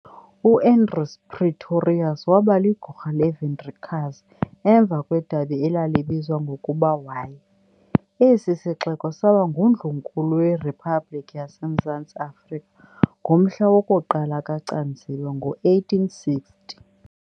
U-Andries Pretorius wabaligorha leVoortrekkers emva kwedabi elalibizwa ngokuba y. Esi sixeko saba ngundlunkulu werhiphabhlikhi yaseMzantsi Afrika ngomhla woku-1 kaCanzibe, ngo-1860.